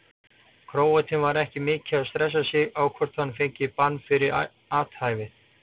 Króatinn var ekki mikið að stressa sig á hvort hann fengi bann fyrir athæfið.